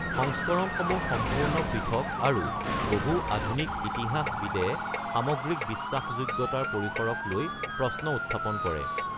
সংস্কৰণসমূহ সম্পূৰ্ণ পৃথক আৰু বহু আধুনিক ইতিহাসবিদে সামগ্ৰিক বিশ্বাসযোগ্যতাৰ পৰিসৰক লৈ প্ৰশ্ন উত্থাপন কৰে।